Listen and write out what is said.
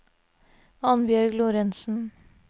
Annbjørg Lorentzen